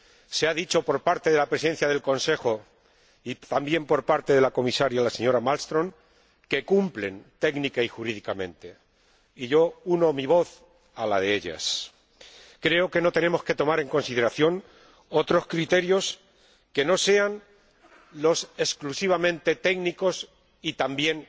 Se ha dicho, por parte de la Presidencia en ejercicio del Consejo y también por parte de la Comisaria, la señora Malmström, que cumplen técnica y jurídicamente, y yo uno mi voz a la de ellas. Creo que no tenemos que tomar en consideración otros criterios que no sean los exclusivamente técnicos y también